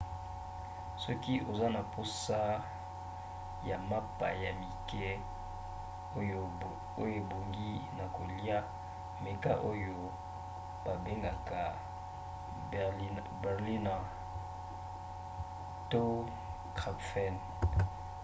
soki oza na mposa ya mapa ya mike oyo ebongi na kolia meka oyo babengaka berliner pfannkuchen to krapfen